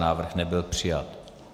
Návrh nebyl přijat.